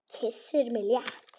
Kyssir mig létt.